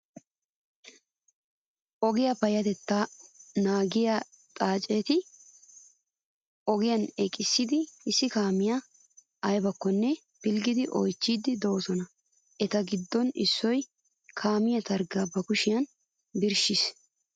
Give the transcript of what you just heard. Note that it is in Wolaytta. Ogiyaa payyatettaa naagissiyaa xaaceti ogiyan eqqidi issi kaamiyoo ayibakkonne pilggidi oyichchiiddi doosona. Eta giddon issoyi kaamee targgaa ba kushiyan birshshes.